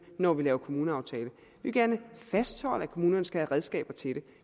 når vi laver kommuneaftale vi vil gerne fastholde at kommunerne skal have redskaber til det